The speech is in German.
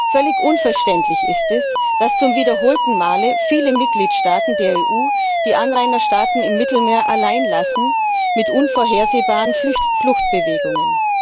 Völlig unverständlich ist es, dass zum wiederholten Male viele Mitgliedstaaten der EU die Anrainerstaaten im Mittelmeer alleinlassen mit unvorhersehbaren Fluchtbewegungen.